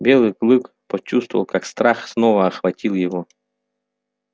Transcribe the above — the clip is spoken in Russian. белый клык почувствовал как страх снова охватил его